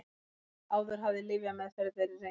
Áður hafði lyfjameðferð verið reynd